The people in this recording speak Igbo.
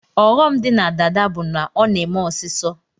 Ọghọm di na dada bu na ọna eme ọsisọ